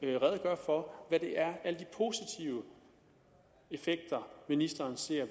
redegøre for hvad det er alle de positive effekter ministeren ser